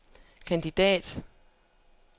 kandidat